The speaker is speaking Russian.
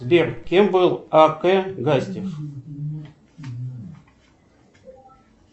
сбер кем был а к гастев